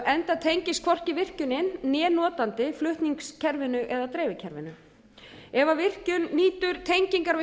enda tengist hvorki virkjunin né notandi flutningskerfinu eða dreifikerfinu ef virkjun nýtur tengingar við